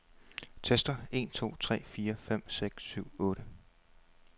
Tester en to tre fire fem seks syv otte.